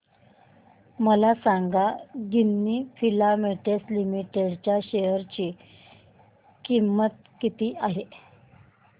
मला सांगा Ginni filaments limited च्या शेअर ची किंमत किती आहे